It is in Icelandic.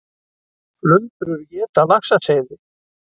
Flundrur éta laxaseiði